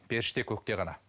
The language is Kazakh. періште көкте ғана